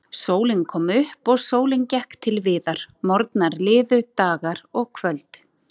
Sólin kom upp og sólin gekk til viðar, morgnar liðu, dagar og kvöld.